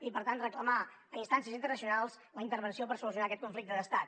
i per tant reclamar a instàncies internacionals la intervenció per solucionar aquest conflicte d’estat